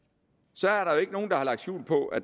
så er der jo ikke nogen der har lagt skjul på at